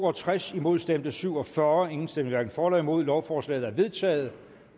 og tres imod stemte syv og fyrre hverken for eller imod lovforslaget er vedtaget